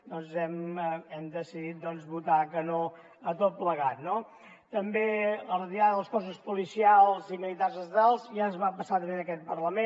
doncs hem decidit votar que no a tot plegat no també la retirada dels cossos policials i militars estatals ja es va passar també en aquest parlament